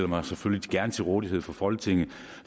mig selvfølgelig gerne til rådighed for folketinget